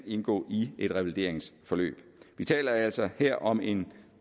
indgå i et revalideringsforløb vi taler altså her om en